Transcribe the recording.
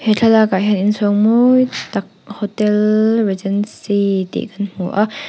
he thlalak ah hian inchhawng mawi tak hotel regency tih kan hmu a--